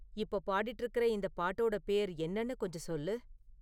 இப்போ பாடிட்டு இருக்குற இந்தப் பாட்டோட பேர் என்னனு கொஞ்சம் சொல்லு